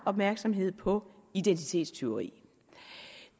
opmærksomhed på identitetstyveri